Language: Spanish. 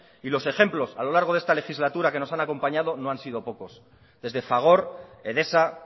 y los ejemplos a lo largo de esta legislatura que nos han acompañado no han sido pocos desde fagor edesa